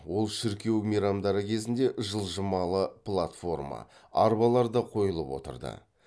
ол шіркеу мейрамдары кезінде жылжымалы платформа арбаларда қойылып отырды